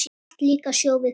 Vatn líka sjó við köllum.